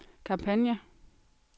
kampagne